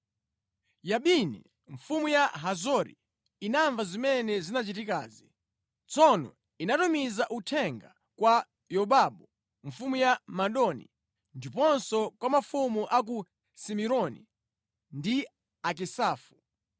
Yabini, mfumu ya Hazori, inamva zimene zinachitikazi. Tsono inatumiza uthenga kwa Yobabu mfumu ya Madoni, ndiponso kwa mafumu a ku Simironi ndi Akisafu.